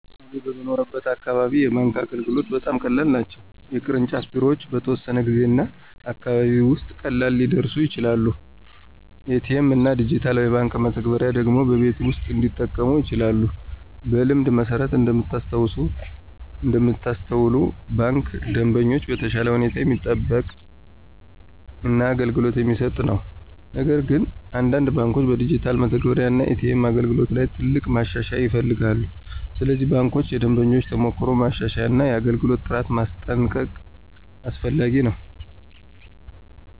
በእኔ የምኖርበት አካባቢ የባንክ አገልግሎቶች በጣም ቀላል ናቸው። የቅርንጫፍ ቢሮዎች በተወሰነ ጊዜ እና አካባቢ ውስጥ ቀላል ሊደርሱ ይችላሉ። ኤ.ቲ.ኤም እና ዲጂታል የባንክ መተግበሪያዎች ደግሞ በቤት ውስጥ እንዲጠቀሙ ይቻላሉ። በልምድ መሠረት እንደምታስተውሉ ባንኩ ደንበኞችን በተሻለ ሁኔታ የሚጠብቅ እና አገልግሎት የሚሰጥ ነው። ነገር ግን አንዳንድ ባንኮች በዲጂታል መተግበሪያ እና ኤ.ቲ.ኤም አገልግሎት ላይ ትልቅ ማሻሻያ ይፈልጋሉ። ስለዚህ ባንኮች የደንበኞችን ተሞክሮ ማሻሻል እና የአገልግሎት ጥራት ማስጠንቀቅ አስፈላጊ ነው።